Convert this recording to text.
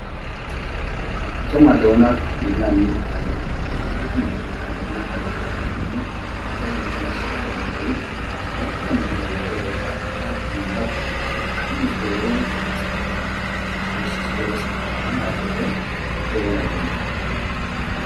እቶም ኣለዉና ኢልና ንምክሐሎም ናይ ሃገርና ሓለፍቲ ኻብ ዝኾኑ ሃፀይ ሃይለ ስላሰ ሓደ እንተኸውን ናይ ቀደም ዝነበሮ ወይከዓ ኻብ ታሪኽ ብምንባብ ብጣዕሚ ዝገበሮም ሰራሕታት ስለ ዘስካክህኑ ኣይፈትወን ክሪኦውን ኣይደልን።